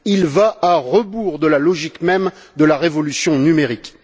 Il va à rebours de la logique même de la révolution numérique.